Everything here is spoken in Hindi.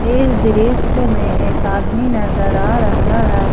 इस दृश्य में एक आदमी नजर आ रहा है।